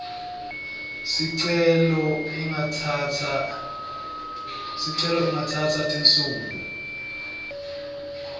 sicelo ingatsatsa tinsuku